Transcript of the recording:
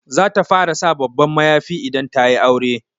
Za ta fara sa babban mayafi idan ta yi aure.